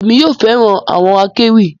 Èmi yóò fẹràn àwọn akéwì